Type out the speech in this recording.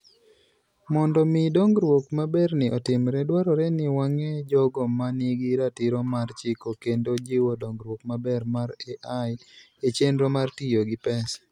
Mondo mi dongruok maberni otimre, dwarore ni wang'e jogo ma nigi ratiro mar chiko kendo jiwo dongruok maber mar AI e chenro mar tiyo gi pesa.